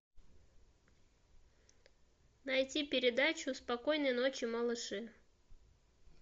найти передачу спокойной ночи малыши